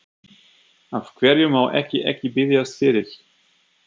Af hverju má ég ekki biðjast fyrir?